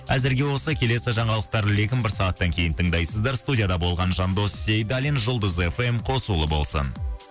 әзірге осы келесі жаңалықтар легін бір сағаттан кейін тыңдайсыздар студияда болған жандос сейдалин жұлдыз эф эм қосулы болсын